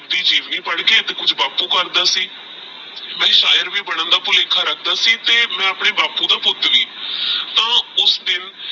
ਜੀਵਨੀ ਪੜਕੇ ਤੇਹ ਕੁਛ ਬਾਪੁ ਕਰਦਾ ਸੀ ਮੈ ਸ਼ਯਰ ਵੀ ਬਣਨ ਦਾ ਭੁਲੇਖਾ ਰਖਦਾ ਸੀ ਤੇਹ ਮੈਆਪਣੇ ਬਾਪੁ ਦਾ ਪੁੱਤ ਵੀ ਤਹ ਉਸ ਦਿਨ